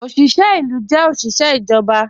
Ọ̀ṣiṣẹ ilu jẹ́ ọ̀ṣiṣẹ ijọba